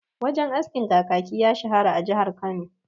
Wajen askin Kakaki ya shahara a jihar Kano..